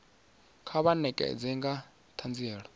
kha vha ṋekane nga ṱhanziela